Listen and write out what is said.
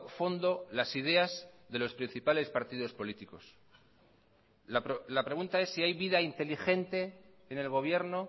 fondo las ideas de los principales partidos políticos la pregunta es si hay vida inteligente en el gobierno